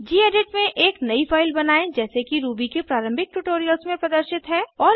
gedit में एक नयी फाइल बनायें जैसे कि रूबी के प्रारंभिक ट्यूटोरियल्स में प्रदर्शित है